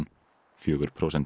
fjögur prósent